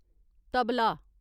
tabla